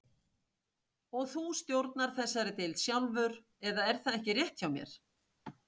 Og þú stjórnar þessari deild sjálfur, eða er það ekki rétt hjá mér?